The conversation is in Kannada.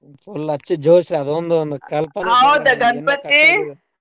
Full ಹಚ್ಚಿ ಜೋಶ್ ಅದೊಂದ್ ಒಂದ್ .